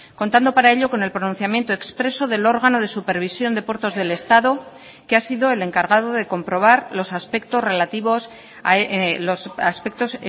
contando para ello con el pronunciamiento expreso del órgano de supervisión de puertos del estado que ha sido el encargado de comprobar los aspectos relativos los aspectos